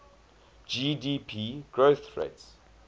gdp growth rates